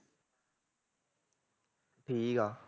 ਠੀਕ ਆ